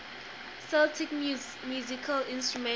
celtic musical instruments